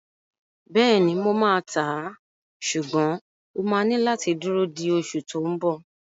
Bẹ́ẹ̀ni, mo máa tàá, ṣùgbọ́n o máa ní láti dúró di oṣù tó n bọ̀